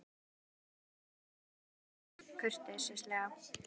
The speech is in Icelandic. Við skulum hjálpa þér á fætur sagði Örn kurteislega.